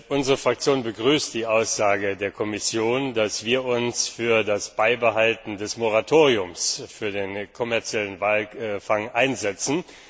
Unsere Fraktion begrüßt die Aussage der Kommission, dass wir uns für das Beibehalten des Moratoriums für den kommerziellen Walfang einsetzen.